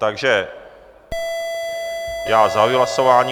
Takže já zahajuji hlasování.